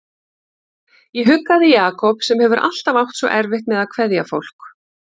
Ég huggaði Jakob sem hefur alltaf átt svo erfitt með að kveðja fólk.